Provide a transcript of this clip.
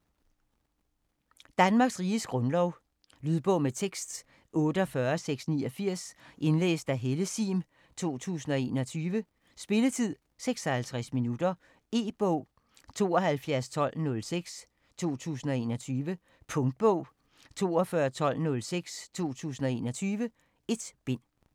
Danmarks Riges Grundlov Lydbog med tekst 48689 Indlæst af Helle Sihm, 2021. Spilletid: 0 timer, 56 minutter. E-bog 721206 2021. Punktbog 421206 2021. 1 bind.